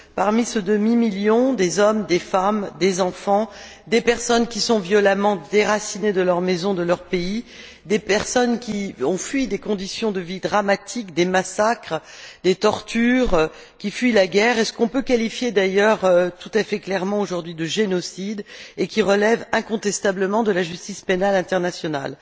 Parmi ce demi million figurent des hommes, des femmes, des enfants qui sont violemment déracinés de leur maison, de leur pays, des personnes qui fuient des conditions de vie dramatiques, des massacres, des tortures, qui fuient la guerre et ce qu'on peut qualifier d'ailleurs tout à fait clairement aujourd'hui de génocide et qui relève incontestablement de la justice pénale internationale.